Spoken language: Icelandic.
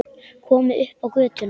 Komin upp á götuna.